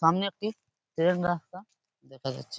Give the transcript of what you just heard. সামনে একটি ট্রেন রাস্তা দেখা যাচ্ছে।